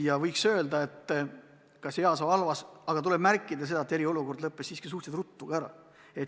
Ja võiks öelda, et kas heas või halvas, aga tuleb märkida, et eriolukord lõppes siiski suhteliselt ruttu ära.